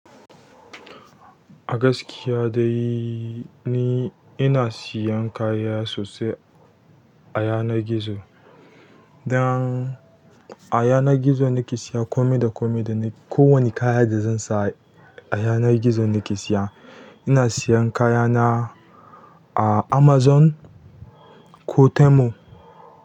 A gaskiya dai ni ina siyan kaya sosai a yanar gizo dan a yanar gizo nake siya komai da komai da ni ko wani kaya da zan sa a yanar gizo nake siya. Ina siyan kayana a Amazon ko Temu.